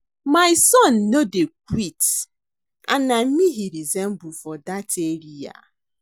My son no dey quit and na me he resemble for dat area